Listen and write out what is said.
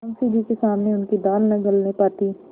मुंशी जी के सामने उनकी दाल न गलने पाती